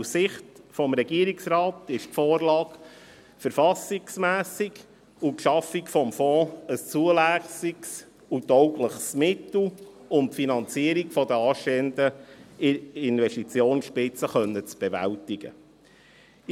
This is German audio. Aus Sicht des Regierungsrates ist die Vorlage verfassungsmässig und die Schaffung des Fonds ein zulässiges und taugliches Mittel, um die Finanzierung der anstehenden Investitionsspitze bewältigen zu können.